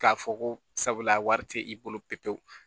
K'a fɔ ko sabula wari tɛ i bolo pepewu